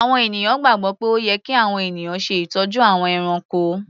Àwọn ènìyàn gbàgbọ́ pé ó yẹ kí àwọn ènìyàn ṣe ìtọ́jú àwọn ẹranko.